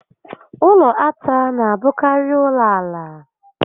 Ụlọ átá n'abụkarị ụlọ ala